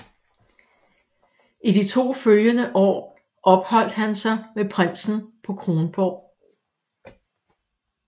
I de to følgende år opholdt han sig med prinsen på Kronborg